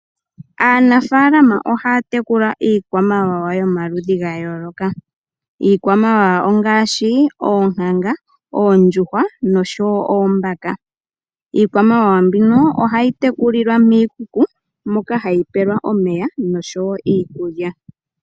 Aanafaalama ohaya tekula iikwamawawa y omaludhi ga yayooloka. Iikwamawawa ongaashi oonkanga, oondjuhwa noshowo oombaka . Iikwamawawa mbino ohayi tekulilwa miikuku moka hayi pelwa omeya nosho wo iikulya.